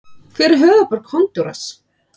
Hver er höfuðborg Honduras?